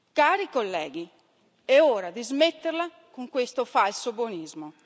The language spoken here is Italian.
Cari colleghi, è ora di smetterla con questo falso buonismo.